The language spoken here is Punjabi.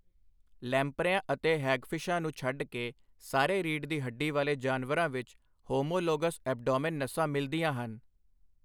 ਲੈਂਪਰਿਆਂ ਅਤੇ ਹੈਗਫਿਸ਼ਾਂ ਨੂੰ ਛੱਡ ਕੇ ਸਾਰੇ ਰੀੜ੍ਹ ਦੀ ਹੱਡੀ ਵਾਲੇ ਜਾਨਵਰਾਂ ਵਿੱਚ ਹੋਮੋਲੋਗਸ ਐਬਡੋਮੇਨ ਨਸਾਂ ਮਿਲਦੀਆਂ ਹਨ।